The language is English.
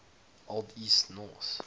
old east norse